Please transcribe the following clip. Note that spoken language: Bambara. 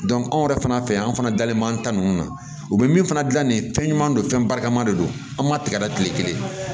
anw yɛrɛ fana fɛ yan anw fana dalen b'an ta ninnu na u bɛ min fana dilan nin ye fɛn ɲuman don fɛn barikama de don an ma tigɛ da tile kelen